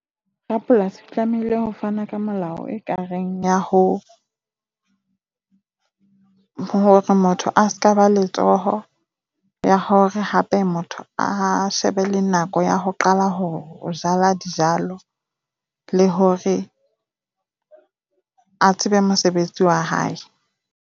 Rapolasi o tlamehile ho fane ka molao ekareng ya ho hore motho a se ka ba letsoho. Le ya hore ha motho a shebe le nako ya ho qala hore ho jala dijalo le hore a tsebe mosebetsi wa hae.